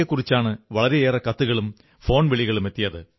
യെക്കുറിച്ചാണ് വളരെയേറെ കത്തുകളും ഫോൺ വിളികളുമെത്തിയത്